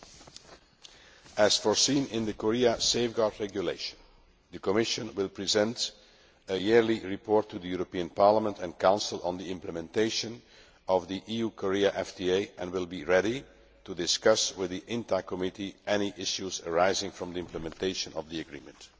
As provided for in the Safeguard Regulation, the Commission will present a yearly report to the European Parliament and Council on the implementation of the EU Korea FTA and will be ready to discuss with the INTA Committee any issues arising from the implementation of the Agreement.